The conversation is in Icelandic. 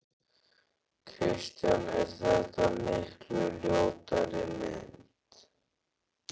Kristján: Er þetta miklu ljótari mynd?